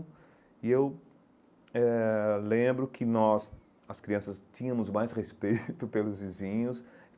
E eu eh lembro que nós, as crianças, tínhamos mais respeito pelos vizinhos.